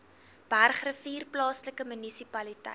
bergrivier plaaslike munisipaliteit